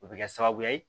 O bɛ kɛ sababu ye